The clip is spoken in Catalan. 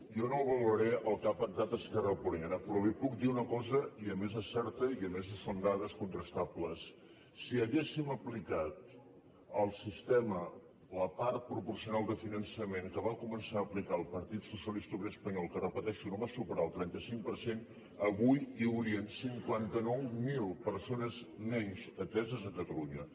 jo no valoraré el que ha pactat esquerra republicana però li puc dir una cosa i a més és certa i a més són dades contrastables si haguéssim aplicat al sistema la part proporcional de finançament que va començar a aplicar el partit socialista obrer espanyol que ho repeteixo no va superar el trenta cinc per cent avui hi haurien cinquanta nou mil persones menys ateses a catalunya